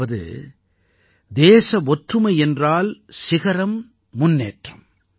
அதாவது தேச ஒற்றுமை என்றால் சிகரம் முன்னேற்றம்